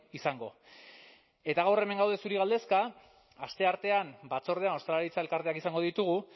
izango eta gaur hemen gaude zuri galdezka asteartean batzordean ostalaritza elkarteak izango ditugu